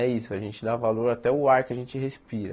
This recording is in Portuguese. É isso, a gente dá valor até o ar que a gente respira.